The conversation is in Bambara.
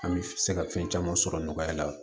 An bɛ se ka fɛn caman sɔrɔ nɔgɔya la